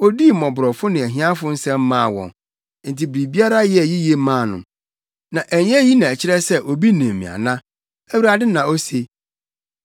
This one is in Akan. Odii mmɔborɔfo ne ahiafo nsɛm maa wɔn, enti biribiara yɛɛ yiye maa no. Na ɛnyɛ eyi na ɛkyerɛ sɛ obi nim me ana?” Awurade na ose.